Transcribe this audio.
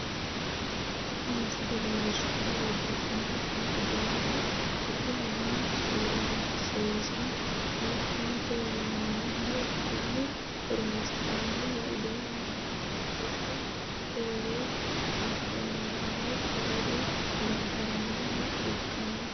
Tini misile leelishanohu babbaxino danni uduuneho buudhinnanni su'niisano shittote yinnanniho Kone horoonsi'nannihu uduunu aanna bushu fooli afamanoki gade gargaranoha ikano.